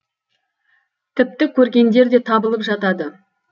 тіпті көргендер де табылып жатады